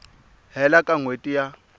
hela ka n hweti ya